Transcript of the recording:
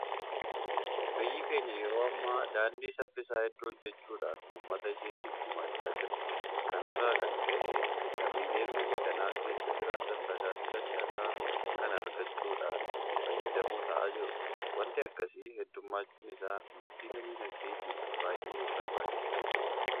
Biyyi keenya yeroo ammaa daandii saffisaa hedduu hojjechuudhaan uummata isheetiif gumaachaa jirti. Kana irraa kan ka'e Lammiileen biyya kana keessa jiraatan tajaajila si'ataa kana argachuudhaan fayyadamoo ta'aa jiru. Waanti akkasii heddummachuun isaa guddina diinagdeetiif baay'ee barbaachisaadha.